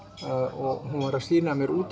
og hún var að sýna mér út